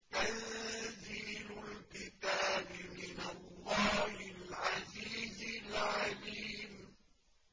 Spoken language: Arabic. تَنزِيلُ الْكِتَابِ مِنَ اللَّهِ الْعَزِيزِ الْعَلِيمِ